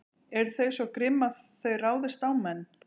Eru þau svo grimm að þau ráðist á menn?